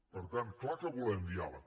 per tant clar que volem diàleg